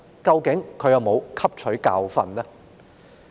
究竟她有否汲取教訓呢？